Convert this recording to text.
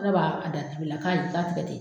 Ka b'a da dibi la k'a ye ni latigɛ ten.